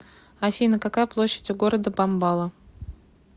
афина какая площадь у города бомбала